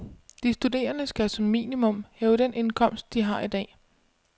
De studerende skal som minimum have den indkomst, de har i dag.